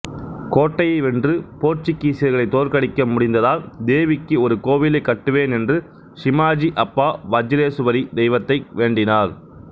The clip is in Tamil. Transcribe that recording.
கோட்டையை வென்று போர்த்துகீசியர்களை தோற்கடிக்க முடிந்தால் தேவிக்கு ஒரு கோவிலைக் கட்டுவேன் என்று சிமாஜி அப்பா வஜ்ரேசுவரி தெய்வத்தை வேண்டினார்